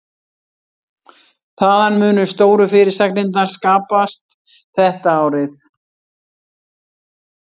Þaðan munu stóru fyrirsagnirnar skapast þetta árið.